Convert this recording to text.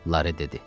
Lara dedi.